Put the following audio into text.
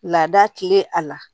Laada tilen a la